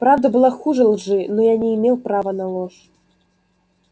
правда была хуже лжи но я не имел права на ложь